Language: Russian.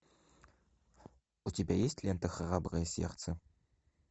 у тебя есть лента храброе сердце